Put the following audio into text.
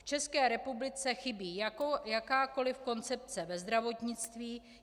V České republice chybí jakákoli koncepce ve zdravotnictví.